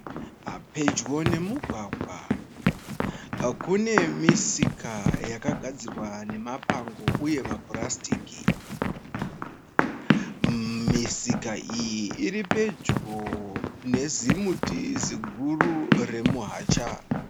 Pedyo nemugwagwa, kune misika yakagadzirwa nemapango uye mapurasitiki. Misika iyi iripedyo nezimuti ziguru remuHacha.